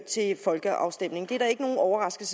til folkeafstemning det er der ikke noget overraskende